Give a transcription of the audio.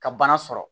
Ka bana sɔrɔ